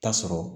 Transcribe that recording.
Ta sɔrɔ